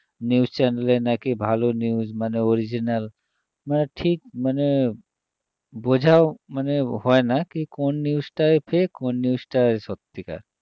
News channel এ নাকি ভালো news মানে original মানে ঠিক মানে বোঝা মানে হয়না কী কোন news টা fake কোন news টা সত্যিকারের